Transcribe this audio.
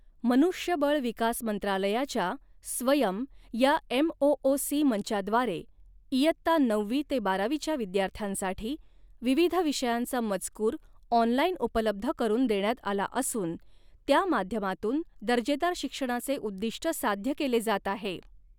मनुष्यबळ विकास मंत्रालयाच्या स्वयम या एमओओसी मंचाद्वारे इयत्ता नववी ते बारावीच्या विद्यार्थ्यांसाठी विविध विषयांचा मजकूर ऑनलाईन उपलब्ध करून देण्यात आला असून, त्या माध्यमातून दर्जेदार शिक्षणाचे उद्दीष्ट साध्य केले जात आहे.